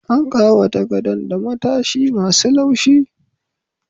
An ƙawata gadon da matasai ma su laushi